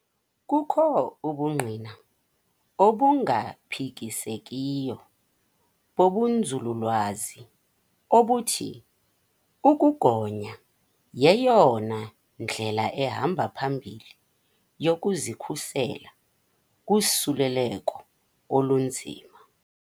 Kukho ubungqina obungaphikisekiyo bobunzululwazi obuthi ukugonya yeyona ndlela ihamba phambili yokuzikhusela kusuleleko olunzima.